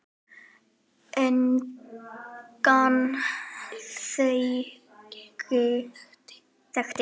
Engan þekkti